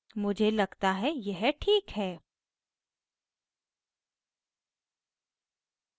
मुझे लगता है यह ठीक है